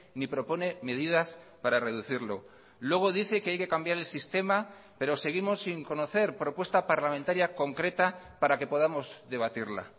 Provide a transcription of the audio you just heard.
ni propone medidas para reducirlo luego dice que hay que cambiar el sistema pero seguimos sin conocer propuesta parlamentaria concreta para que podamos debatirla